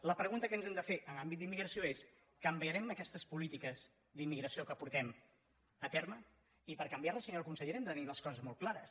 la pregunta que ens hem de fer en àmbit d’immigració és canviarem aquestes polítiques d’immigració que portem a terme i per canviar les senyora consellera hem de tenir les coses molt clares